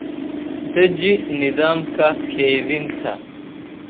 Deji nidaamka kaydinta.